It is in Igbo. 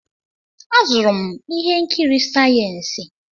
Azụrụ m ihe nkiri sayensị.